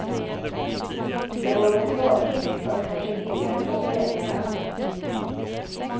Det vore tråkigt, fast kanske billigare för föräldrarna.